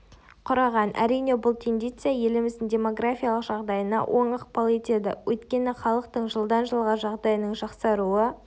құраған әрине бұл тенденция еліміздің демографиялық жағдайына оң ықпал етеді өйткені халықтың жылдан-жылға жағдайының жақсаруы